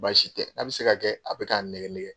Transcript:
Baasi tɛ n k'a bɛ se ka kɛ a bɛ k'a n nɛgɛ nɛgɛ.